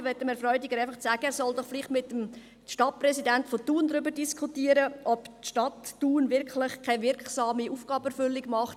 Ich möchte Herrn Freudiger sagen, dass er mit dem Stadtpräsidenten von Thun darüber diskutieren soll, ob die Stadt Thun wirklich keine wirksame Aufgabenerfüllung vornimmt.